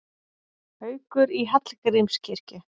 Haukur í Hallgrímskirkju